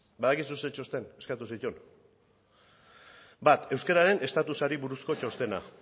badakizu ze txosten eskatu zituen bat euskararen estatusari buruzko txostena